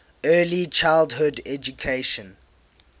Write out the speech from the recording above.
early childhood education